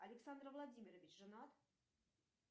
александр владимирович женат